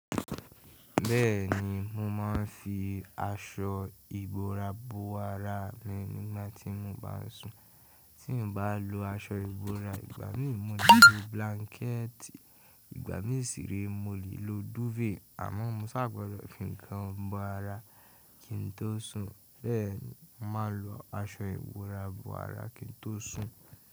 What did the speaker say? Bẹ́ẹ̀ni, mo máa ń fi aṣọ ìbora bo ara mi nígbà tí mo bá sùn. Tí n bá lo aṣọ ìbora, ìgbà mí mo le lo blanket, ìgbà mí sì ré mo lè lo duvet. Àmọ́ mo ṣà gbọdọ̀ fi ń kan bo ara kí n tó sùn. Bẹ́ẹ̀ ni màá lo aṣọ ìbora bo ara kí n tó sùn.